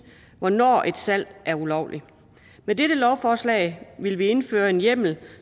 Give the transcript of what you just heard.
hvornår et salg er ulovligt med dette lovforslag vil vi indføre en hjemmel